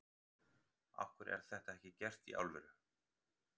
Af hverju er þetta ekki gert í alvöru?